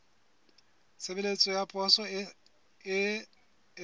tshebeletso ya poso e sa